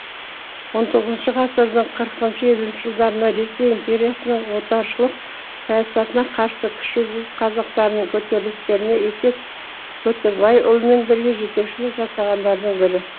он тоғызыншы ғасырдың қырқыншы елуінші жылдарында ресей империясының отаршылық саясатына қарсы кіші жүз қазақтарының көтерілістеріне есет көтібайұлымен бірге жетекшілік жасағандардың бірі